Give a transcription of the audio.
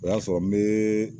O y'a sɔrɔ n bɛ